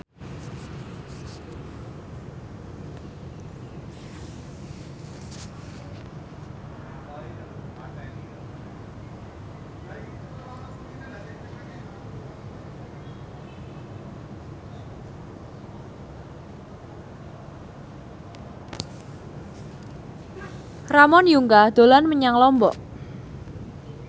Ramon Yungka dolan menyang Lombok